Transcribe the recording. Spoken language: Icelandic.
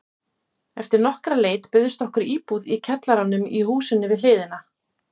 Eftir nokkra leit bauðst okkur íbúð í kjallaranum í húsinu við hliðina.